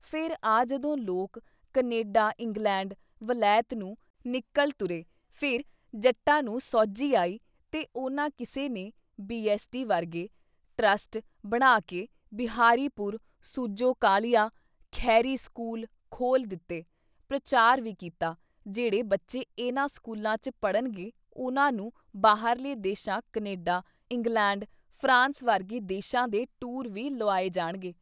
ਫੇਰ ਆਹ ਜਦੋਂ ਲੋਕ ਕਨੇਡਾ ਇੰਗਲੈਂਡ, ਵਲੈਤ ਨੂੰ ਨਿਕਲ ਤੁਰੇ ਫਿਰ ਜੱਟਾਂ ਨੂੰ ਸੋਝੀ ਆਈ ਤੇ ਉਨ੍ਹਾਂ ਕਿਸੇ ਨੇ ਬੀ. ਐਸ. ਟੀ. ਵਰਗੇ ਟਰੱਸਟ ਬਣਾ ਕੇ ਬਿਹਾਰੀਪੁਰ, ਸੂਜੋ ਕਾਲੀਆ, ਖਹਿਰੀ ਸਕੂਲ ਖੋਲ੍ਹ ਦਿੱਤੇ ਪ੍ਰਚਾਰ ਵੀ ਕੀਤਾ ਜੇੜ੍ਹੇ ਬੱਚੇ ਇਹਨਾਂ ਸਕੂਲਾਂ ਚ ਪੜ੍ਹਨ ਗੇ ਉਨ੍ਹਾਂ ਨੂੰ ਬਾਹਰਲੇ ਦੇਸ਼ਾਂ ਕਨੇਡਾ, ਇੰਗਲੈਂਡ, ਫਰਾਂਸ ਵਰਗੇ ਦੇਸ਼ਾਂ ਦੇ ਟੂਰ ਵੀ ਲੁਆਏ ਜਾਣਗੇ।